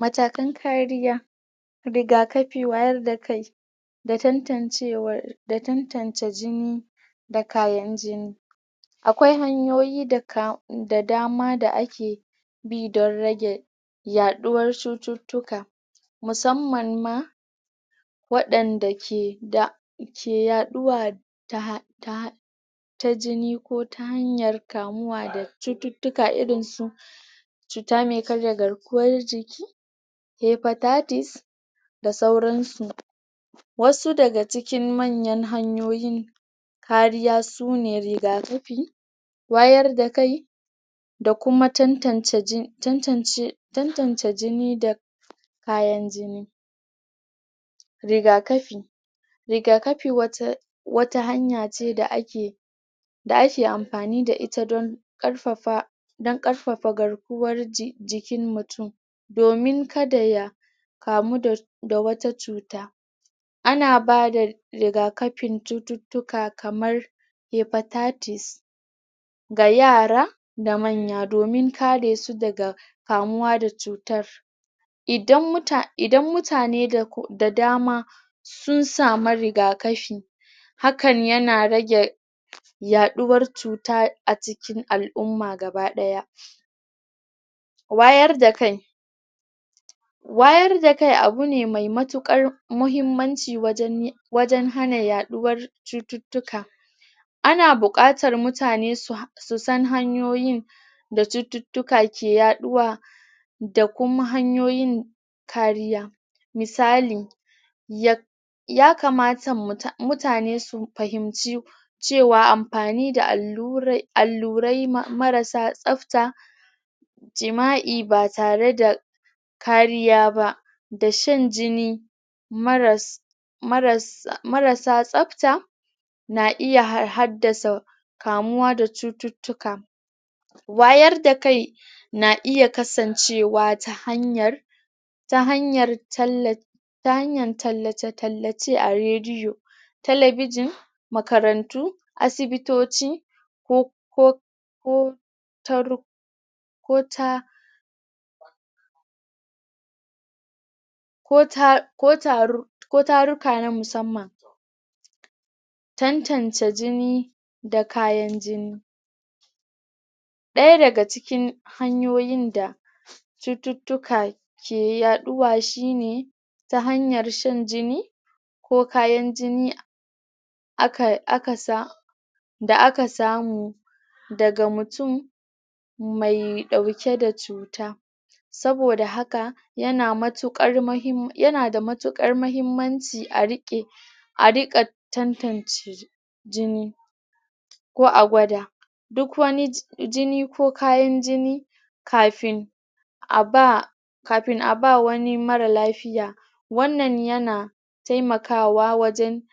matakan kariya rigakafi wayar da kai da tantancewar da tantance jini da kayan jini akwai hanyoyi da dama da ake bi don rage yaduwar cututtuka musamman ma wadanda ke da ke yaduwa ta [um[ ta ta jini ko ta hanyar kamuwa da cututtuka irinsu cuta ke karya garkuwan jiki hepatatis da sauransu wasu daga cikin manyan hanyoyi kariya sune rigakafi wayar da kai da kuma tantance ji um tantance tantance jini da kayan jini rigakafi rigakafi wata wata hanya ce da ake da ake amfani da ita don karfafa don karfafa garkuwan jikin mutum domin kada ya kamu da da wata cuta ana bada rigakafin cututtuka kamar hepatitis ga yara da manya domin karesu daga kamuwa da cutar idan muta idan mutane da dama sun sama rigakafi hakan yana rage yaduwar cuta a cikin al'umma gaba daya wayar da kai wayar da kai abu ne mai matukar mahimmanci wajen um um wajen hana yaduwar cututtuka ana bukatar mutane su su san hanyoyi da cututtuka ke yaduwa da kuma hanyoyin kariya misali ya um ya kamata muta mutane su fahimci cewa amfani da allurai allurai marasa tsabta jima'i ba tare da kariya ba da shan jini maras maras marasa tsabta na iya had haddasa kamuwa da cututtuka wayar da kai na iya kasancewa ta hanyar ta hanyar tallafi ta hanayr tallace tallace a rediyo telabijin makarantu asibitoci ko ko ko ta ru ko ta ko ta ko taru ko taruka na musamman tantance jini da kayan jini daya daga cikin hanyoyin da cututtuka ke ke yaduwa shine ta hanyar shan jini ko kayan jini akai aka sa da aka samu daga mutum mai dauke da cuta saboda haka yana matuka mahim yana da matukar mahimmanci a rike a rika tantance jini ko a gwada duk wani jini ko kayan jini kafin a ba kafin a ba wani mara lafiya wannan yana taimakawa wajen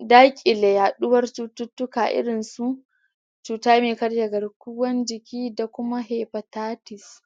dakile yaduwar cututtuka irinsu cuta me karya garkuwan jiki da kuma hepatitis